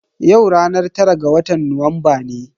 Yau ranar tara ga watan Nuwamba ne.